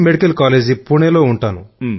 medical college పూణేలో ఉంటాను